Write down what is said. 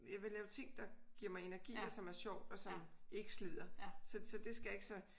Jeg vil lave ting der giver mig energi og som er sjovt og som ikke slider så så det skal jeg ikke så